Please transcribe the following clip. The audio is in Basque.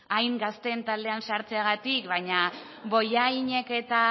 hain gazteen taldean sartzeagatik baina bollainek eta